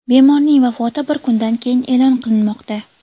Bemorning vafoti bir kundan keyin e’lon qilinmoqda.